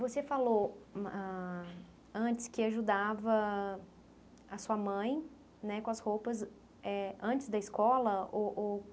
Você falou ãh antes que ajudava a sua mãe né com as roupas eh antes da escola? Ou ou.